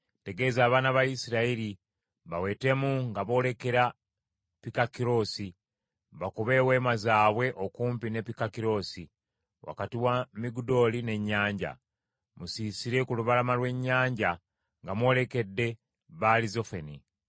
“Tegeeza abaana ba Isirayiri bawetemu nga boolekera Pikakirosi, bakube eweema zaabwe okumpi ne Pikakirosi, wakati wa Migudooli n’ennyanja. Musiisire ku lubalama lw’ennyanja nga mwolekedde Baali Zefoni.